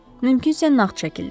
Mümkünsə nağd şəkildə.